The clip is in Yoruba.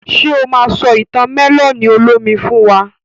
Ṣe o ma sọ ìtàn mẹ́lọ̀nì olómi fún wa?